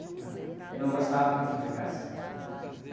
né? Ele não gostava que a gente brigasse, né?